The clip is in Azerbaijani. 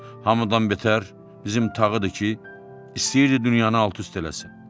Hamıdan betər bizim Tağıdır ki, istəyirdi dünyanı alt-üst eləsin.